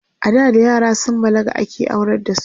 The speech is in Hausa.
ada da yara sun balaga ake aurar da su